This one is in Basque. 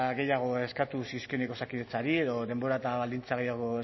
gehiago eskatu zizkionik osakidetzari edo denbora eta baldintza gehiago